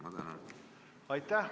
Aitäh!